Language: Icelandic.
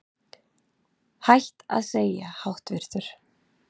Hætt að segja háttvirtur